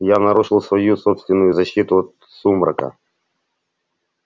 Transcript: я нарушил свою собственную защиту от сумрака